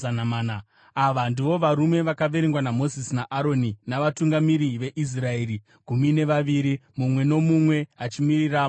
Ava ndivo varume vakaverengwa naMozisi naAroni navatungamiri veIsraeri gumi nevaviri, mumwe nomumwe achimiririra mhuri yake.